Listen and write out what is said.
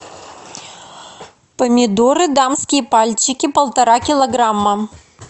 помидоры дамские пальчики полтора килограмма